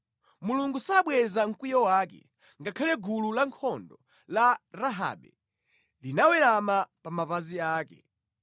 Mulungu sabweza mkwiyo wake; ngakhale gulu lankhondo la Rahabe linawerama pa mapazi ake.